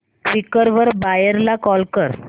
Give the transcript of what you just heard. Quikr वर buyer ला call कर